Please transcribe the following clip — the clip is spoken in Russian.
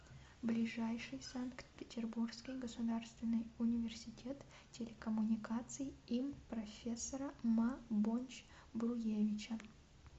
ближайший санкт петербургский государственный университет телекоммуникаций им профессора ма бонч бруевича